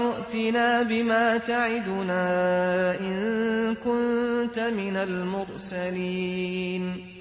ائْتِنَا بِمَا تَعِدُنَا إِن كُنتَ مِنَ الْمُرْسَلِينَ